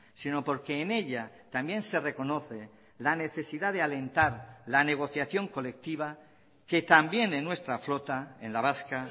sino porque en ella también se reconoce la necesidad de alentar la negociación colectiva que también en nuestra flota en la vasca